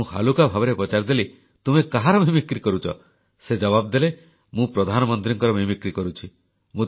ମୁଁ ହାଲୁକା ଭାବରେ ପଚାରିଦେଲି ତୁମେ କାହାର ନକଲ କରୁଛ ସେ ଜବାବ ଦେଲେ ମୁଁ ପ୍ରଧାନମନ୍ତ୍ରୀଙ୍କର ନକଲ କରୁଛି